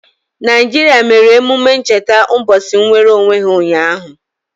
Naijiria mere emume ncheta ụbọchị nnwereonwe ha ụnyaahụ.